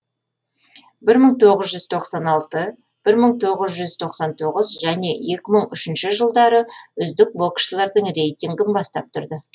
бір мың тоғыз жүз тоқсан алтыншы бір мың тоғыз жүз тоқсан тоғызыншы және екі мың үшінші жылдары үздік боксшылардың рейтингін бастап тұрды